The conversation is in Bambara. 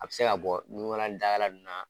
A bɛ se ka bɔ nukala ni dakala ninnu na